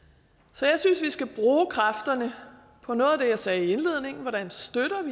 så jeg synes vi skal bruge kræfterne på noget af det jeg sagde i indledningen altså